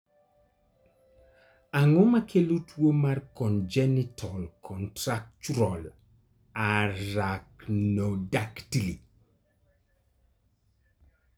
Ang'o makelo tuwo mar congenital contractural arachnodactyly?